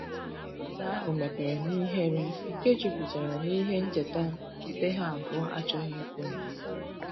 Ụzo ahu mepere n'ihere nke juputara n'ihe ncheta ndi ha abuo achoghi ikwu